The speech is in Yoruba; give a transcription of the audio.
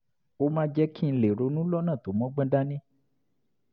ó máa ń jẹ́ kí n lè ronú lọ́nà tó mọ́gbọ́n dání